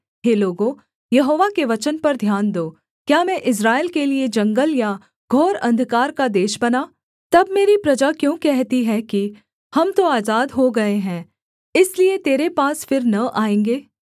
हे लोगों यहोवा के वचन पर ध्यान दो क्या मैं इस्राएल के लिये जंगल या घोर अंधकार का देश बना तब मेरी प्रजा क्यों कहती है कि हम तो आजाद हो गए हैं इसलिए तेरे पास फिर न आएँगे